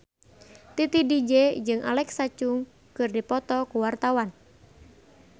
Titi DJ jeung Alexa Chung keur dipoto ku wartawan